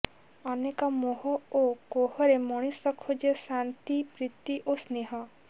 ଅନେକ ମୋହ ଓ କୋହରେ ମଣିଷ ଖୋଜେ ଶାନ୍ତି ପ୍ରୀତି ଓ ସ୍ନେହ